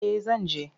Eh zan je.